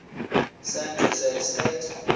san jose state